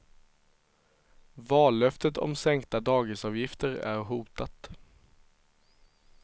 Vallöftet om sänkta dagisavgifter är hotat.